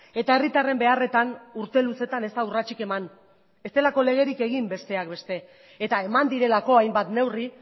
eta herritarren beharretan urte luzetan ez da urratsik eman ez delako legerik egin besteak beste eta eman direlako hainbat neurri